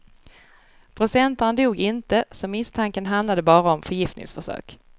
Procentaren dog inte, så misstanken handlade bara om förgiftningsförsök.